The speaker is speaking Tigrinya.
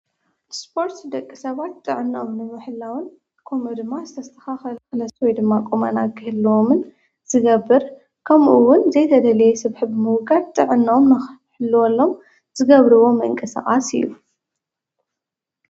ስጶርት ደቂ ሰባት ጥዕናም ንመሕላውን ኮም ድማ ዝተስኻ ኸልኸለሰወይ ድማ ቆመና ግህልዎምን ዝገብር ከምኡውን ዘይተደለየ ስብሒብ ምውቃድ ጥዕናዎም ናሕለወሎም ዝገብርዎ መንቀ ሠዓስ እዩ።